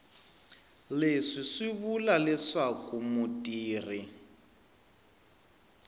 leswi swi vula leswaku mutirhi